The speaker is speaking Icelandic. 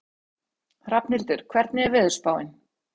Hrafnhildur, hvernig er veðurspáin?